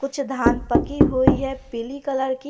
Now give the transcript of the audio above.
कुछ धान पक्की हुई है पीली कलर की।